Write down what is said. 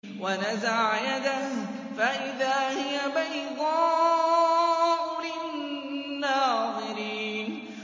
وَنَزَعَ يَدَهُ فَإِذَا هِيَ بَيْضَاءُ لِلنَّاظِرِينَ